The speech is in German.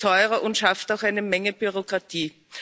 Es ist teurer und schafft auch eine Menge Bürokratie.